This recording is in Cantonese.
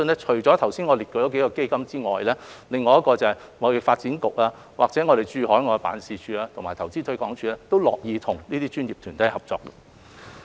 除了剛才列舉的數個基金以外，貿發局、駐海外的經濟貿易辦事處和投資推廣署，都樂意和這些專業團體合作。